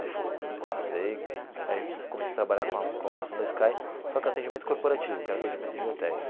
Aí fui, passei, aí comecei a trabalhar com a com a operação da Sky, só que atendimento corporativo, que era atendimento de hotéis.